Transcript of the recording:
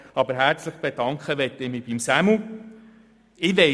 Aber herzlich bedanken möchte ich mich bei Sämu Leuenberger.